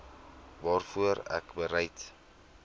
waarvoor ek bereid